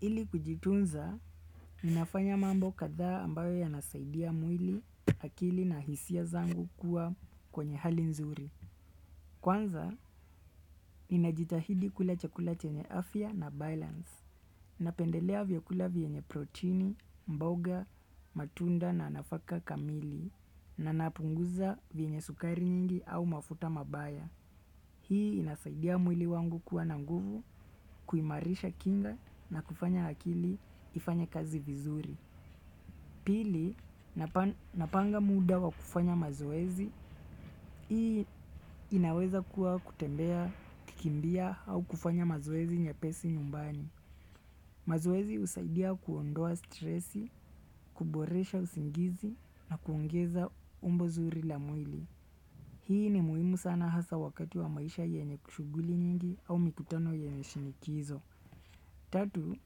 Ili kujitunza, ninafanya mambo kadhaa ambayo yanasaidia mwili, akili na hisia zangu kuwa kwenye hali nzuri. Kwanza, ninajitahidi kula chakula chenye afya na balance. Napendelea vyakula venye protini, mboga, matunda na nafaka kamili na napunguza venye sukari nyingi au mafuta mabaya. Hii inasaidia mwili wangu kuwa na nguvu, kuimarisha kinga na kufanya akili ifanye kazi vizuri. Pili, napanga muda wa kufanya mazoezi. Hii inaweza kuwa kutembea, kukimbia au kufanya mazoezi mepesi nyumbani. Mazoezi husaidia kuondoa stress, kuboresha usingizi na kuongeza umbo zuri la mwili. Hii ni muhimu sana hasa wakati wa maisha yenye shughuli nyingi au mikutano yenye shinikizo. Tatu,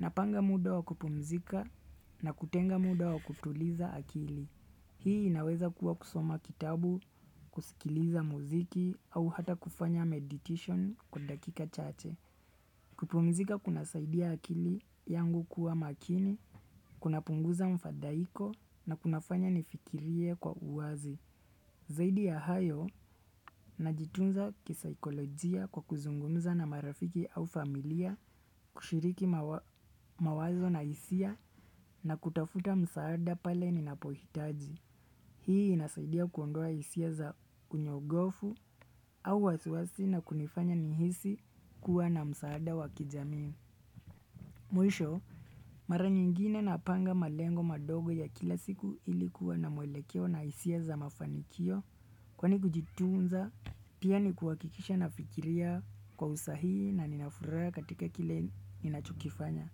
napanga muda wa kupumzika na kutenga muda wa kutuliza akili. Hii inaweza kuwa kusoma kitabu, kusikiliza muziki au hata kufanya meditation kwa dakika chache. Kupumzika kunasaidia akili yangu kuwa makini, kunapunguza mfadhaiko na kunafanya nifikirie kwa uwazi. Zaidi ya hayo, najitunza kisaikolojia kwa kuzungumza na marafiki au familia kushiriki mawazo na hisia na kutafuta msaada pale ninapohitaji. Hii inasaidia kuondoa hisia za unyogofu au wasiwasi na kunifanya nihisi kuwa na msaada wa kijamii. Mwisho, mara nyingine napanga malengo madogo ya kila siku ili kuwa na mwelekeo na hisia za mafanikio kwani kujitunza pia ni kuhakikisha nafiikiria kwa usahihi na ninafuraha katika kile ninachokifanya.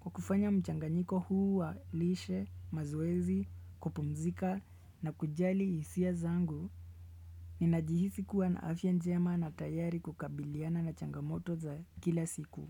Kwa kufanya mchanganyiko huu wa lishe, mazoezi, kupumzika na kujali hisia zangu ninajihisi kuwa na afya njema na tayari kukabiliana na changamoto za kila siku.